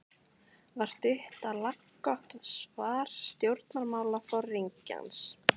var stutt og laggott svar stjórnmálaforingjans.